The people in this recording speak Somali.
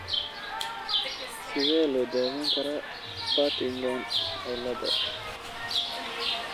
Sidee loo daweyn karaa Partington ciilada?